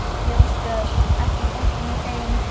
Ljósbjörg, ekki fórstu með þeim?